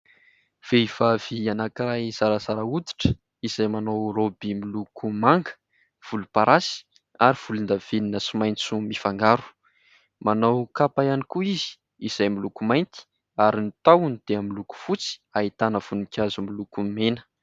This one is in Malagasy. Vehivavy anankiray zarazara oditra izay manao rôby miloko manga, volomparasy ary volondavenona sy maitso mifangaro. Manao kapa ihany koa izy izay miloko mainty ary ny tahony dia miloko fotsy, ahitana voninkazo miloko mena.